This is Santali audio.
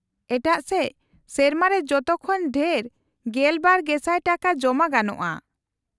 -ᱮᱴᱟᱜ ᱥᱮᱪ, ᱥᱮᱨᱢᱟ ᱨᱮ ᱡᱚᱛᱚ ᱠᱷᱚᱱ ᱰᱷᱮᱨ ᱑᱒,᱐᱐᱐ ᱴᱟᱠᱟ ᱡᱚᱢᱟ ᱜᱟᱱᱚᱜᱼᱟ ᱾